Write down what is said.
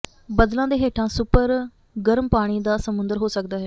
ੇ ਬੱਦਲਾਂ ਦੇ ਹੇਠਾਂ ਸੁਪਰ ਗਰਮ ਪਾਣੀ ਦਾ ਸਮੁੰਦਰ ਹੋ ਸਕਦਾ ਹੈ